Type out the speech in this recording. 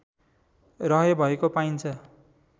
रहेभएको पाइन्छ